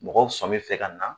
Mɔgɔw sɔmin fɛ ka na.